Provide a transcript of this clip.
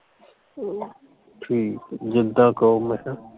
ਠੀਕ ਹੈ, ਜਿੱਦਾਂ ਕਹੋ ਮੈਂ ਕਿਹਾ